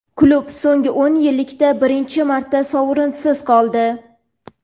klub so‘nggi o‘n yillikda birinchi marta sovrinsiz qoldi.